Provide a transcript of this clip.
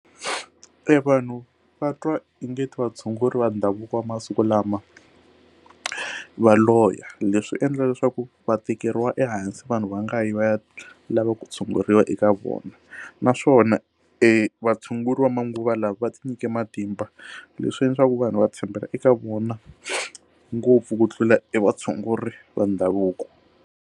Evanhu va twa onge ti vatshunguri va ndhavuko va masiku lama va loya leswi endla leswaku va tekeriwa ehansi vanhu va nga yi va ya lava ku tshunguriwa eka vona naswona evatshunguri va manguva lawa va ti nyika matimba leswi leswaku vanhu va tshembela eka vona ngopfu ku tlula i vatshunguri va ndhavuko.